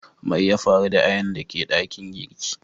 Mai ya faru da ayanan da ke dakin girki?